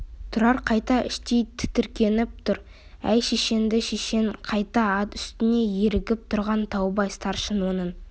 тұрар қайта іштей тітіркеніп тұр әй шешеңді шешең қайда ат үстінде ерігіп тұрған таубай старшын оның